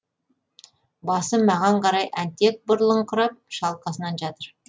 басы маған қарай әнтек бұрылыңқырап шалқасынан жатыр